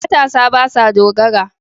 Matasa ba sa dogara.